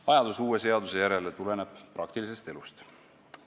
Vajadus uue seaduse järele tuleneb praktilisest elust.